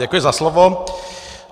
Děkuji za slovo.